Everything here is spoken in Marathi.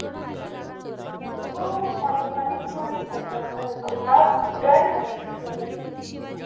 हो हो college वालेच provide करतात